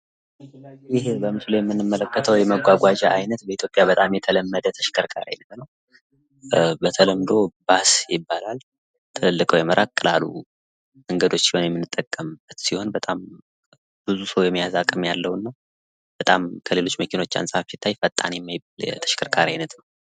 ይህ በምስሉ ላይ የምንመለከተው የመጓጓዣ አይነት በኢትዮጵያ በጣም የተለመደ የተሽከርካሪ አይነት ነው። በተለምዶ ባስ ይባላል ።ትልልቅ ወይም ራቅ ላሉ መንገዶች የምንጠቀምበት ሲሆን በጣም ብዙ ሰው የመያዝ አቅም ያለውና በጣም ከሌሎች መኪኖች አንፃር ሲታይ ፈጣን የማይባል የተሽከርካሪ አይነት ነው።